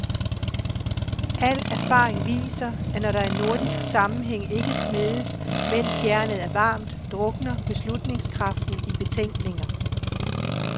Al erfaring viser, at når der i nordisk sammenhæng ikke smedes, mens jernet er varmt, drukner beslutningskraften i betænkninger.